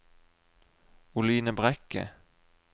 Oline Brekke